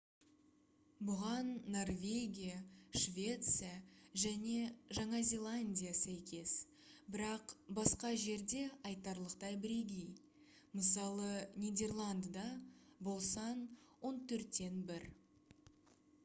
бұған норвегия швеция және жаңа зеландия сәйкес бірақ басқа жерде айтарлықтай бірегей мысалы нидерландыда бұл сан он төрттен бір